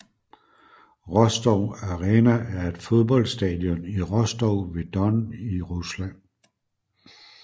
Rostov Arena er et fodboldstadion i Rostov ved Don i Rusland